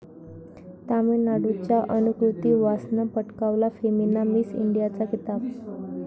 तामिळनाडूच्या अनुकृती वासनं पटकावला फेमिना मिस इंडियाचा किताब